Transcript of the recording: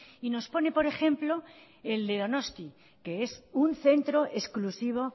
y nos pone por ejemplo el de donosti que es un centro exclusivo